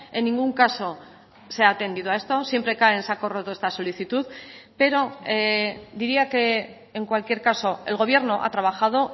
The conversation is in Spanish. en ningún caso se ha atendido a esto siempre cae en saco roto esta solicitud pero diría que en cualquier caso el gobierno ha trabajado